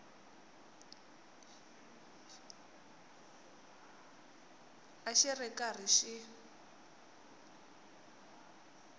a xi ri karhi xi